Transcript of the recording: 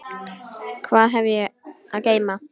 Hvað hef ég að geyma?